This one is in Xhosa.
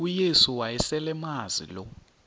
uyesu wayeselemazi lo